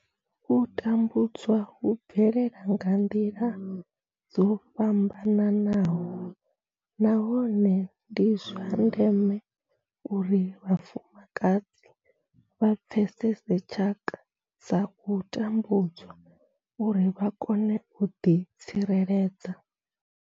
U tambudzwa hu bvelela nga nḓila dzo fhambanaho nahone ndi zwa ndeme uri vhafumakadzi vha pfesese tshaka dza u tambudzwa uri vha kone u ḓi tsireledza.